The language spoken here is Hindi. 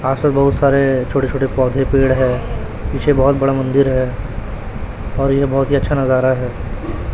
आस पास बहुत सारे छोटे छोटे पौधे पेड़ है। पीछे बहोत बड़ा मंदिर है और यह बहोत ही अच्छा नजारा है।